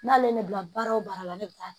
N'ale ne bila baara o baara la ne bɛ taa